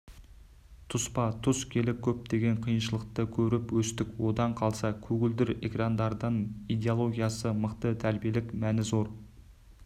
тұспа-тұс келіп көптеген қиыншылықты көріп өстік одан қалса көгілдір экрандардан идеологиясы мықты тәрбиелік мәні зор